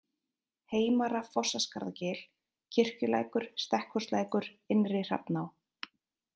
Heimara-Fossaskarðagil, Kirkjulækur, Stekkhúslækur, Innri-Hrafná